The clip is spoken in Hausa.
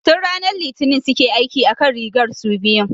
Tun ranar Litinin suke aiki akan rigar su biyun